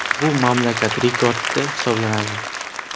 Bu mamlakat rekordi hisoblanadi.